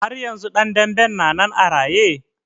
Har yanzu ɗan danben na nan a raye?